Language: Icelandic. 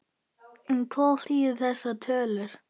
En hvað þýða þessar tölur?